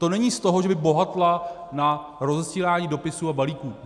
To není z toho, že by bohatla na rozesílání dopisů a balíků.